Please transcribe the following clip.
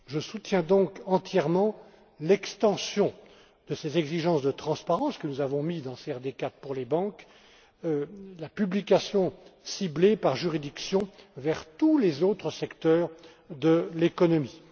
Je soutiens donc entièrement l'extension de ces exigences de transparence, que nous avons mises dans la CRD IV pour les banques, et de publication ciblée par juridiction vers tous les autres secteurs de l'économie.